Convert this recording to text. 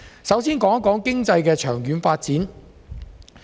首先談談經濟的長遠發展。